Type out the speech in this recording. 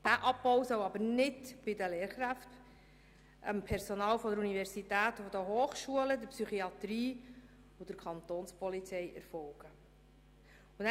Dieser Abbau soll jedoch nicht bei den Lehrkräften, beim Personal der Universität und der Hochschulen, bei der Psychiatrie oder bei der Kantonspolizei erfolgen.